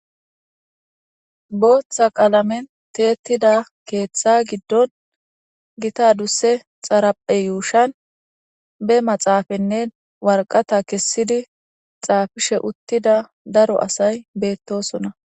booththa qaalamen teettida keeththa giddon gita dusse xaraphe yuushan be maxaafanne warqata kessidi xaafishe uttida daro asay beettosona